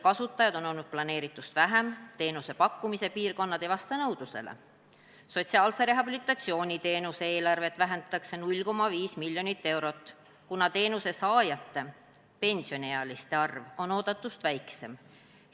Sotsiaalse rehabilitatsiooniteenuse eelarvet vähendatakse 0,5 mln eurot, kuna teenuse saajate arv on oodatust väiksem.